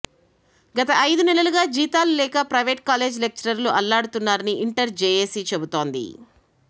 గత ఐదు నెలలుగా జీతాలు లేక ప్రైవేట్ కాలేజ్ లెక్చరర్లు అల్లాడుతున్నారని ఇంటర్ జేఏసీ చెబుతోంది